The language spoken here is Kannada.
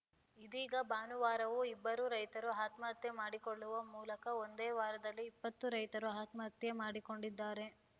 ಇದೀಗ ಭಾನುವಾರವೂ ಇಬ್ಬರು ರೈತರು ಆತ್ಮಹತ್ಯೆ ಮಾಡಿಕೊಳ್ಳುವ ಮೂಲಕ ಒಂದೇ ವಾರದಲ್ಲಿ ಇಪ್ಪತ್ತು ರೈತರು ಆತ್ಮಹತ್ಯೆ ಮಾಡಿಕೊಂಡಿದ್ದಾರೆ